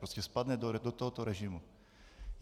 Prostě spadne do tohoto režimu.